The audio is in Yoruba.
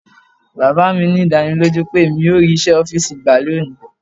Baba mi ní ìdánilójú pé emi yóò rí iṣẹ́ ọ́fìsì gbà ní òní.